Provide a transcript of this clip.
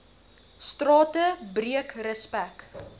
strate breek respek